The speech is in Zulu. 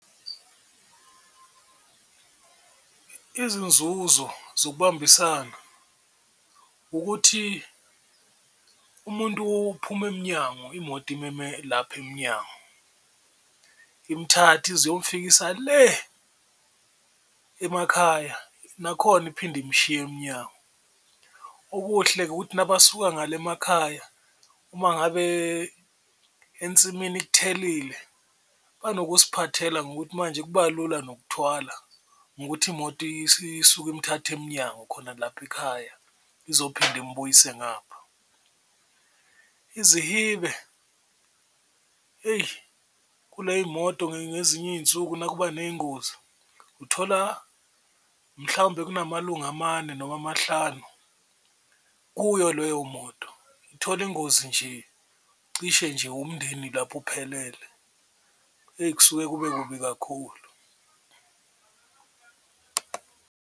Izinzuzo zokubambisana ukuthi umuntu uphuma emnyango imoto imeme lapho emnyango, imthathe ize iyomfikisa le emakhaya nakhona iphinde imshiye emnyango. Okuhle-ke ukuthi nabasuka ngale emakhaya uma ngabe ensimini kuthelile banokusiphathela ngokuthi manje kuba lula nokuthwala ngokuthi imoto isuke, imthathe emnyango khona lapho ekhaya izophinda imubuyisele ngapho. Izihibe eyi kule yimoto ngezinye iy'nsuku nakuba ney'ngozi uthola mhlawumbe kunamalunga amane noma amahlanu kuyo leyo moto, ithola ingozi nje cishe nje umndeni lapho uphelele eyi kusuke kube kubi kakhulu.